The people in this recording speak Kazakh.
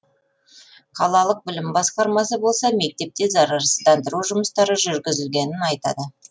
қалалық білім басқармасы болса мектепте зарарсыздандыру жұмыстары жүргізілгенін айтады